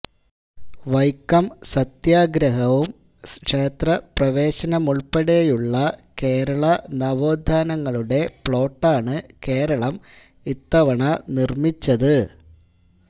വൈക്കം സത്യാഗ്രഹവും ക്ഷേത്ര പ്രവേശനവുമുള്പ്പെടെയുള്ള കേരള നവോത്ഥാനങ്ങളുടെ പ്ലോട്ടാണ് കേരളം ഇത്തവണ നിര്മ്മിച്ചത്